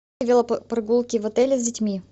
велопрогулки в отеле с детьми